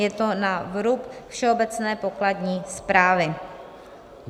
Je to na vrub Všeobecné pokladní správy.